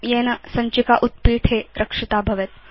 येन सञ्चिका उत्पीठे रक्षिता भवेत्